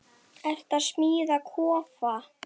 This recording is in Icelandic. Ertu að smíða kofa?